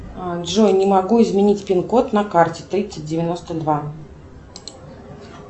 джой не могу изменить пин код на карте тридцать девяносто два